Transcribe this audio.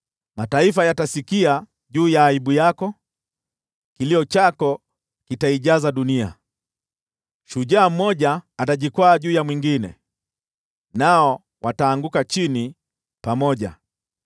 Mataifa yatasikia juu ya aibu yako, kilio chako kitaijaza dunia. Shujaa mmoja atajikwaa juu ya mwingine, nao wataanguka chini pamoja.”